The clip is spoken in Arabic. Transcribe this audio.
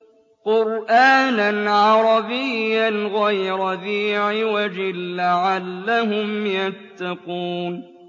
قُرْآنًا عَرَبِيًّا غَيْرَ ذِي عِوَجٍ لَّعَلَّهُمْ يَتَّقُونَ